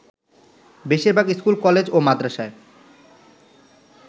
বেশির ভাগ school, college ও মাদরাসায়